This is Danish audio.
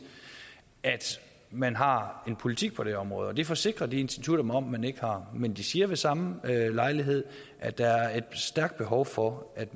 man har en politik på det område det forsikrer de institutter mig om at man ikke har men de siger ved samme lejlighed at der er et stærkt behov for at